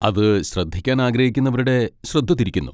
അത് ശ്രദ്ധിക്കാൻ ആഗ്രഹിക്കുന്നവരുടെ ശ്രദ്ധ തിരിക്കുന്നു.